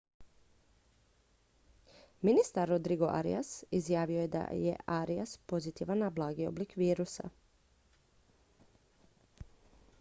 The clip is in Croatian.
ministar rodrigo arias izjavio je da je arias pozitivan na blagi oblik virusa